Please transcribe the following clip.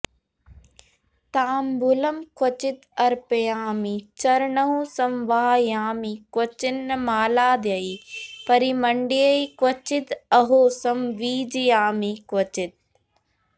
ताम्बूलं क्वचिद् अर्पयामि चरणौ संवाहयामि क्वचिन् मालाद्यैः परिमण्डये क्वचिद् अहो संवीजयामि क्वचित्